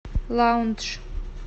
лаундж